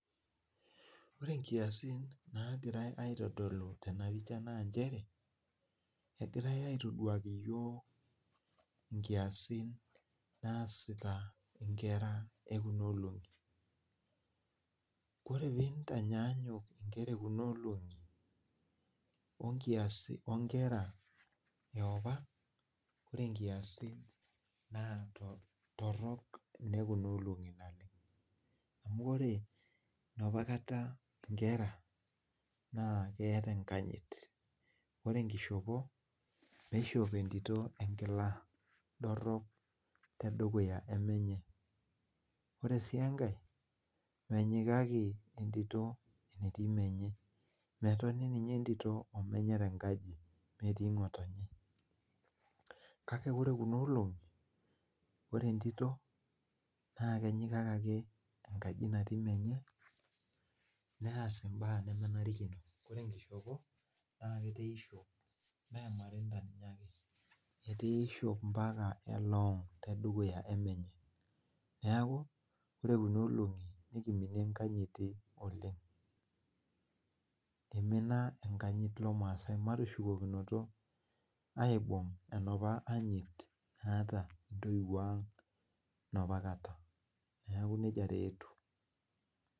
Ore nkiasin naagirai aitodolu tena pisha naa nchere, egirai aitoduaki iyiok nkiasin naasita inkera e kuna olong'i. Ore piintanyanyuk nkera e kuna olong'i wo nkiasin, wo nkera e opa ore inkiasin naa torrok inekuna olong'i naleng'. Amu ore enopakata inkera naa keeta enkanyit. Ore enkishopo, eishop entito enkila dorrop tedukuya e menye. Ore sii enkae, menyikaki entito enetii menye, metoni ninye entito o menye tenkaji metii ng'otonye. Kake ore kuna olong'i, ore entito naa kenyikaki ake enkaji natii menye neas imbaak nemenarikino. Ore enkishopo naa ketaa iishop mee emarinda ninye ake, etaa iishop ompaka eloong' tedukuya e menye. Neeku ore kuna olong'i nekiminie enkanyit oleng. Imina enkanyit lomaasai, matushukokinoto aibung' enopa anyit naata intoiwuo ang' enoopa kata. Neeku nija taa etiu